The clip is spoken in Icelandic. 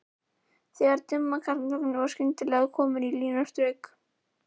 Þegar dimm karlmannsrödd var skyndilega komin á línuna strauk